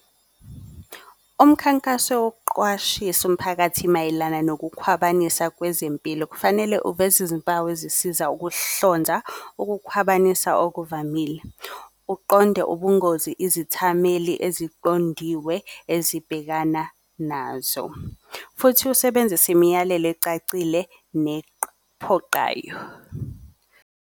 Umkhankaso wokuqwashisa umphakathi mayelana nokukhwabanisa kwezempilo, kufanele uveze izimpawu ezisiza ukuhlonza ukukhwabanisa okuvamile. Uqonde ubungozi izithameli eziqondiwe ezibhekana nazo, futhi usebenzise imiyalelo ecacile nephoqayo.